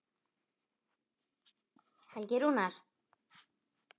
Helgi Rúnar.